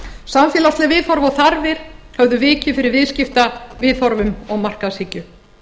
samfélagsleg viðhorf og þarfir höfðu vikið fyrir viðskiptaviðhorfum og markaðshyggju